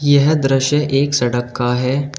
यह दृश्य एक सड़क का है।